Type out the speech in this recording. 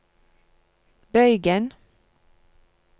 bøygen